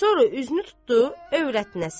Sonra üzünü tutdu övrətinə.